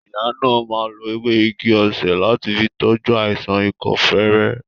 Ìyá náà má lo ewé igi-osè láti fi tọ́jú àìsàn ikọ́ fere